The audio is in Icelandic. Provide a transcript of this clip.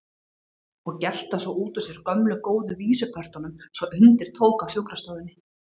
Og gelta svo út úr sér gömlu góðu vísupörtunum svo undir tók á sjúkrastofunni.